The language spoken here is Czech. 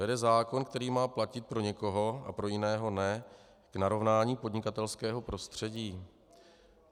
Vede zákon, který má platit pro někoho a pro jiného ne, k narovnání podnikatelského prostředí?